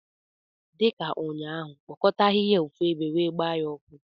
Dị ka ụnyaahụ, kpokọta ahịhịa a ofu ebe wee gbaa ha ọkụ!